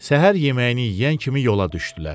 Səhər yeməyini yeyən kimi yola düşdülər.